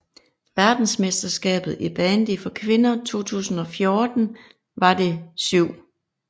Verdensmesterskabet i bandy for kvinder 2014 var det 7